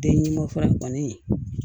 Denmasa kɔni